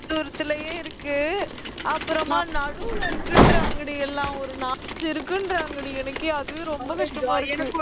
கொஞ்ச துரத்துலயே இருக்கு அப்புறமா நடுவுல இருக்குன்றாங்கடி எல்லாம் ஒரு நாலு, அஞ்சு இருக்குன்றாங்கடி எனக்கே அதுவே ரொம்ப கஷ்டமா இருக்கு